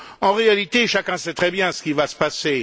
En réalité, chacun sait très bien ce qui va se passer.